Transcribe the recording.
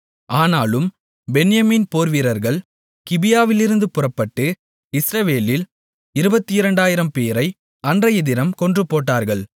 ஆனாலும் பென்யமீன் போர்வீரர்கள் கிபியாவிலிருந்து புறப்பட்டு இஸ்ரவேலில் 22000 பேரை அன்றையதினம் கொன்றுபோட்டார்கள்